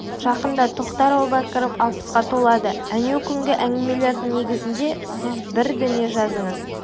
жақында тоқтар әубәкіров алпысқа толады әнеукүнгі әңгімелердің негізінде сіз бір дүние жазыңыз